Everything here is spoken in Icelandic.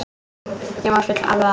Þeim var full alvara.